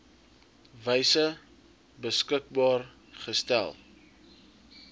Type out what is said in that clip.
wyse beskikbaar gestel